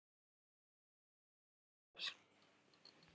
Hjartað hægir á sér.